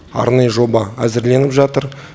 арнайы жоба әзірленіп жатыр